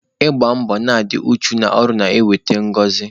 Ịgba mbọ na i dị uchu n'ọrụ na-eweta ngọzị.